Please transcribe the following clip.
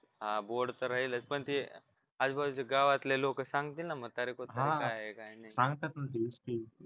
हा board तर राहीलच पण ते आजूबाजूच्या गावातले लोक सांगतील ना म्हणजे म्हातारे कोतारे काय आहे काय नाही